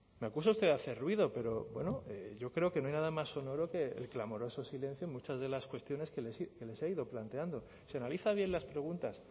me acusa usted de hacer ruido pero bueno yo creo que no hay nada más sonoro que el clamoroso el silencio en muchas de las cuestiones que les he ido planteando si analiza bien las preguntas